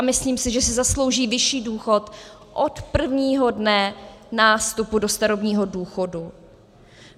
A myslím si, že si zaslouží vyšší důchod od prvního dne nástupu do starobního důchodu.